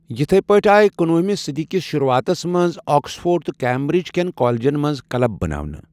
یتھے پٲٹھۍ آے کنوہمہِ صدی کِس شروعاتس منٛز آکسفورڈ تہٕ کیمبرج کٮ۪ن کالجن منٛز کٕلب بناونہٕ۔